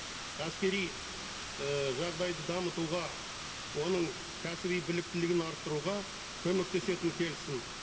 әскери і жағдайды дамытуға оның кәсіби біліктілігін арттыруға көмектесетін келісім